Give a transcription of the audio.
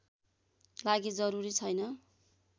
लागि जरूरी छैन